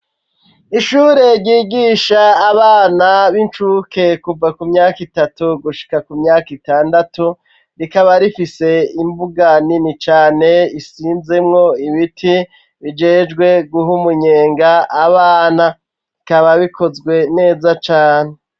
Ishure ryigisha abana, b'inshuke kuva ku myaka itatu ,gushika ku myaka itandatu ,rikaba rifise imbuga nini cane isinzemwo ibiti ,bijejwe guhumunyenga abana, bikaba bikozwe neza cane.